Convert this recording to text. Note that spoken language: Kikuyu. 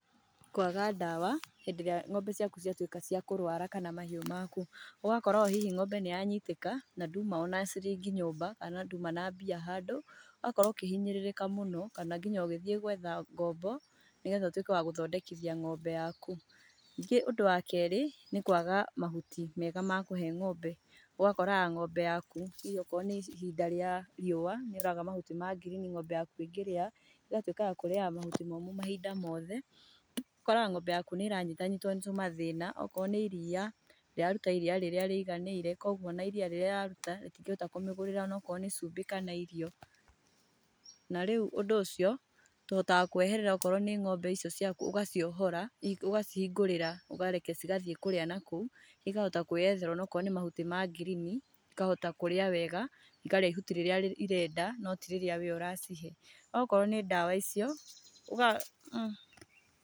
Kwaga ndawa hindĩ-irĩa ng'ombe ciaku ciatuĩka ciakũrwara kana mahiũ maku, ũgakora ũhihi ng'ombe nĩyanyitĩka na nduma ona cirĩngĩ nyũmba kana nduma na mbia handũ, ũgakorwo ũkĩhinyĩrĩrĩka mũno kana nginya ũgĩthiĩ gwetha ngombo nĩgetha ũtuĩke wa gũthondekithia ng'ombe yaku. Ningĩ ũndũ wa kerĩ nĩ kwaga mahuti mega ma kũhe ng'ombe, ũgakoraga ng'ombe yaku tuge akorwo nĩ ihinda rĩa riũwa nĩuraga mahuti ma girini, ng'ombe yaku ĩngĩrĩa, ĩgatuĩka ya kũrĩyaga mahuti mũmo mahinda mothe, ũgakoraga ng'ombe yaku nĩ ĩranyitanyitwo nĩ tũmathĩna, okorwo nĩ ĩriya ndĩraruta ĩriya rĩrĩa rĩiganĩire koguo ona ĩriya rĩrĩa ĩraruta rĩtingĩhota kũmĩgũrĩra onakorwo nĩ cumbĩ kana irio. Na rĩu ũndũ ũcio tũhataga kũweherera okorwo nĩ ng'ombe icio ũgaciũhora ũgacihingũrĩra ũkareke cigathii kũrĩa nakou ĩkahota kwĩyethera onakorwo nĩ mahuti ma girini, ĩkahota kũrĩa wega, ĩkarĩa ĩhuti rĩrĩa ĩrenda no tirĩrĩa we ũracihe. Okorwo nĩ ndawa icio.